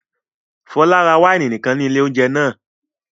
Fọlá ra wáìnì nìkan ní ilé-oúnjẹ náà?